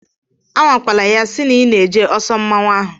Anwakwala ya sị na ị na-eje ọsọ mmọnwụ ahụ!